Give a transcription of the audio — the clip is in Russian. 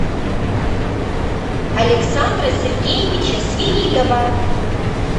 александра сергеевича свиридова